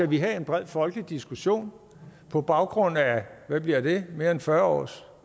vi have en bred folkelig diskussion i på baggrund af hvad bliver det mere end fyrre års